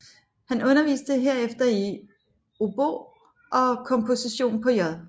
Han underviste herefter i Obo og komposition på J